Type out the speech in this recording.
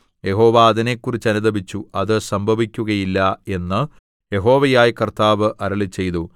യഹോവ അതിനെക്കുറിച്ച് അനുതപിച്ചു അത് സംഭവിക്കുകയില്ല എന്ന് യഹോവയായ കർത്താവ് അരുളിച്ചെയ്തു